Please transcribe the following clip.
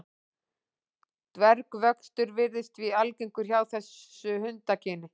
Dvergvöxtur virðist því algengur hjá þessu hundakyni.